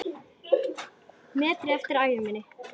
metri eftir af ævi minni.